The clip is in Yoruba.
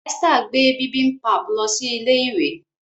Esther gbé bibimpap ló sì ilé ìwé.